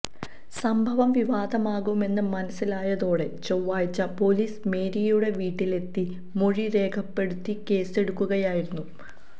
സംഭവം വിവാദമാകുമെന്ന് മനസിലായതോടെ ചൊവ്വാഴ്ച പൊലീസ് മേരിയുടെ വീട്ടിലെത്തി മൊഴി രേഖപ്പെടുത്തി കേസെടുക്കുകയായിരുന്നു